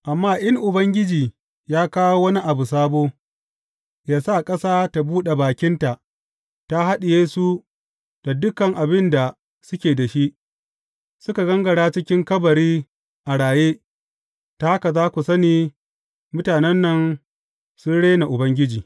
Amma in Ubangiji ya kawo wani abu sabo, ya sa ƙasa ta buɗe bakinta, ta haɗiye su da dukan abin da suke da shi, suka gangara cikin kabari a raye, ta haka za ku sani mutanen nan sun rena Ubangiji.